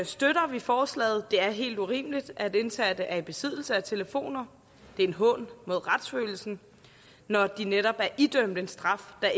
støtter vi forslaget det er helt urimeligt at indsatte er i besiddelse af telefoner det er en hån mod retsfølelsen når de netop er idømt en straf der